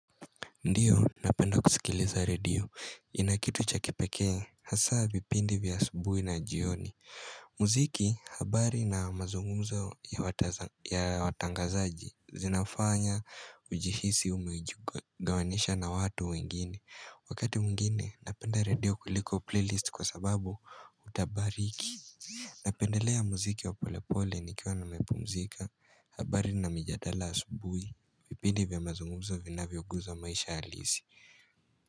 Ndiyo, napenda kusikiliza redio. Ina kitu cha kipekee, hasa vipindi vya asubuhi na jioni. Muziki, habari na mazunguzo ya watangazaji zinafanya ujihisi umejigawanisha na watu wengine. Wakati mwingine, napenda redio kuliko playlist kwa sababu hautabiriki. Napendelea muziki wa pole pole nikiwa nimepumzika, habari na mijadala asubuhi. Vipindi vya mazungumzo vinavyoguza maisha halisi.